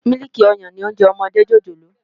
Mílìkí òyán ni óònjè òmòdé jójólóò